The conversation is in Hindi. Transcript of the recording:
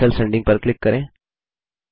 कैंसेल सेंडिंग पर क्लिक करें